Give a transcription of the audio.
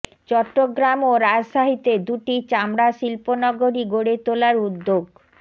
চট্টগ্রাম ও রাজশাহীতে দুটি চামড়া শিল্পনগরী গড়ে তোলার উদ্যোগ